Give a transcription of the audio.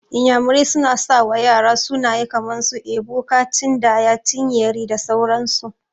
Iyamurai suna sawa ƴara sunaye kaman su, Ebuka, Chindaya, Chinyere da sauran su.